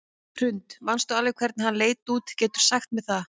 Hrund: Manstu alveg hvernig hann leit út, geturðu sagt mér það?